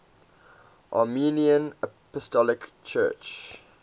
armenian apostolic church